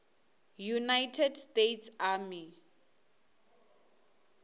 united states army